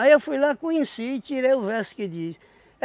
Aí eu fui lá, conheci, tirei o verso que diz.